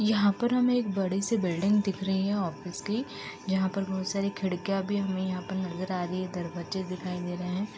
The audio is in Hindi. यहाँ पर हमें एक बड़ी सी बिल्डिंग दिख रही है ऑफिस की जहाँ पर बोहोत सारी खिड़कियां भी हमें यहाँ पर नजर आ रही हैं दरवजे दिखाई दे रहे हैं।